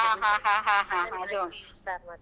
.